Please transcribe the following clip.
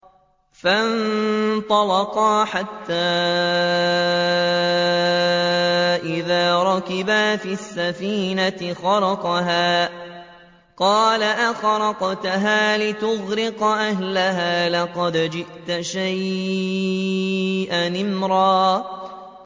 فَانطَلَقَا حَتَّىٰ إِذَا رَكِبَا فِي السَّفِينَةِ خَرَقَهَا ۖ قَالَ أَخَرَقْتَهَا لِتُغْرِقَ أَهْلَهَا لَقَدْ جِئْتَ شَيْئًا إِمْرًا